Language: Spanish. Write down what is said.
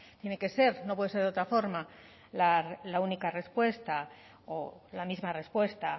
tiene que ser no puede ser de otra forma la única respuesta o la misma respuesta